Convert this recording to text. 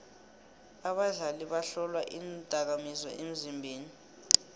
abadlali bahlolwa iindakamizwa emzimbeni